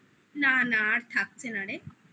না না আর থাকছে না রে